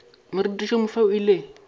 morutiši yo mofsa o ile